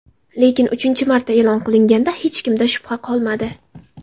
Lekin uchinchi marta e’lon qilinganda, hech kimda shubha qolmadi.